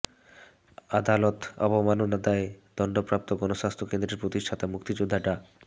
আদালত অবমাননার দায়ে দণ্ডপ্রাপ্ত গণস্বাস্থ্য কেন্দ্রের প্রতিষ্ঠাতা মুক্তিযোদ্ধা ডা